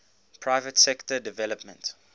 private sector development